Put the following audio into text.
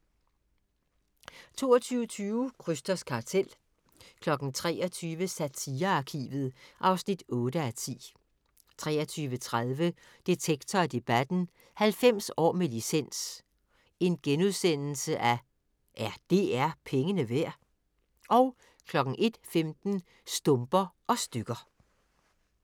22:20: Krysters Kartel 23:00: Satirearkivet (8:10) 23:30: Detektor & Debatten: 90 år med licens – er DR pengene værd? * 01:15: Stumper og stykker